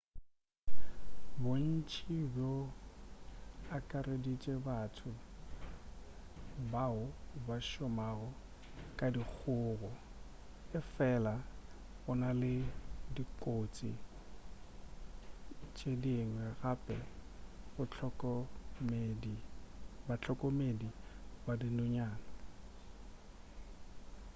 bontši bo akareditše batho bao ba šomago ka dikgogo efela go na le dikotsi tše dingwe gape go bahlokomedi ba dinonyana